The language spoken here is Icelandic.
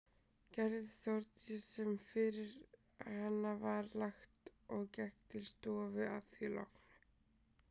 Gerði Þórdís sem fyrir hana var lagt og gekk til stofu að því loknu.